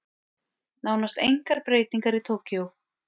Nánast engar breytingar í Tókýó